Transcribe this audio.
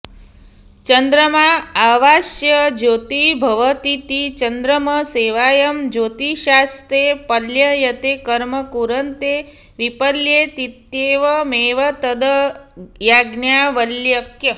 चन्द्रमा एवास्य ज्योतिर्भवतीति चन्द्रमसैवायं ज्योतिषास्ते पल्ययते कर्म कुरुते विपल्येतीत्येवमेवैतद् याज्ञवल्क्य